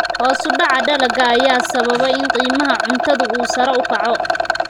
Hoos u dhaca dalagga ayaa sababa in qiimaha cuntadu uu sare u kaco.